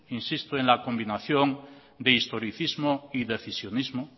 insisto en la combinación de historicismo y decisionismo